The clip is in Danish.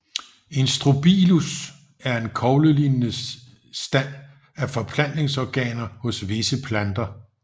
En Strobilus er en koglelignende stand af forplantningsorganer hos visse planter